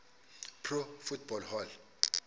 pro football hall